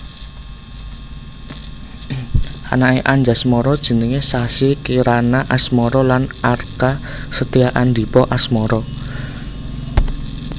Anaké Anjasmara jenengé Sassi Kirana Asmara lan Arka Setyaandipa Asmara